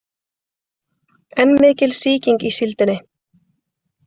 Enn mikil sýking í síldinni